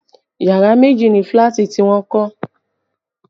Yàrá méjì ni fílàtì tí wọ́n kọ́